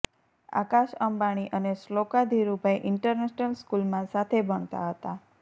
આકાશ અંબાણી અને શ્લોકા ધીરુભાઈ ઈન્ટરનેશનલ સ્કૂલમાં સાથે ભણતા હતા